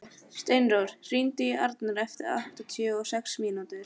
Steinrós, hringdu í Arnar eftir áttatíu og sex mínútur.